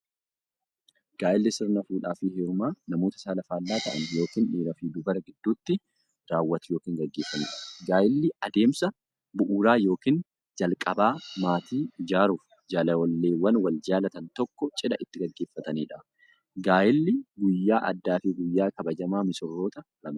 Gaa'illi sirna fuudhaaf heerumaa namoota saala faallaa ta'an yookiin dhiiraf dubara gidduutti raawwatu yookiin gaggeeffamuudha. Gaa'illi adeemsa bu'uuraa yookiin jalqabaa maatii ijaaruuf, jaalalleewwan wal jaalatan tokko cidha itti gaggeeffataniidha. Gaa'illi guyyaa addaafi guyyaa kabajamaa missiroota lamaaniiti.